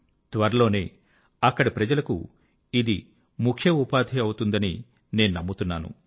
త్వరలోనే అక్కడి ప్రజలకు ఇది ముఖ్య ఉపాధి అవుతుందని నేను నమ్ముతున్నాను